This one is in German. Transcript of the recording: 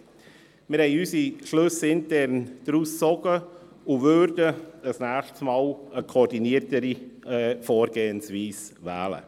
Wir haben unsere Schlüsse daraus gezogen und würden bei einem nächsten Mal eine koordiniertere Vorgehensweise wählen.